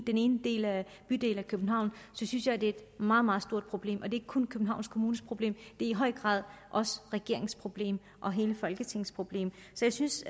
den ene bydel i københavn så synes jeg at det er et meget meget stort problem og det ikke kun københavns kommunes problem det er i høj grad også regeringens problem og hele folketingets problem så jeg synes